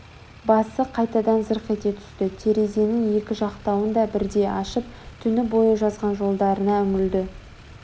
басы қайтадан зырқ ете түсті терезенің екі жақтауын да бірдей ашып түні бойы жазған жолдарына үңілді